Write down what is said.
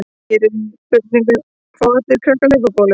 Hér er einnig svarað spurningunum: Fá allir krakkar hlaupabólu?